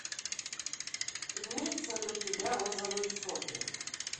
имеется ли у тебя розовые сопли